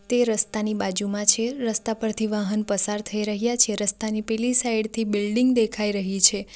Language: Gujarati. તે રસ્તાની બાજુમાં છે રસ્તા પરથી વાહન પરથી થઈ રહ્યા છે રસ્તાની પેલી સાઈડ થી બિલ્ડીંગ દેખાઈ રહી છે.